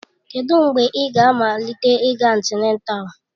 Kedụ mgbe ị ga-amalite ịga antịnátál?